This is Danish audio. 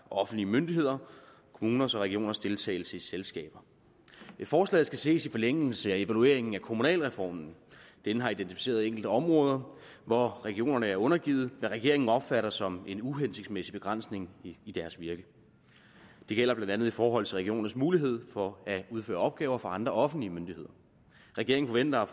offentlige myndigheder og kommuners og regioners deltagelse i selskaber forslaget skal ses i forlængelse af evalueringen af kommunalreformen denne har identificeret enkelte områder hvor regionerne er undergivet hvad regeringen opfatter som en uhensigtsmæssig begrænsning i deres virke det gælder blandt andet i forhold til regionernes mulighed for at udføre opgaver for andre offentlige myndigheder regeringen forventer at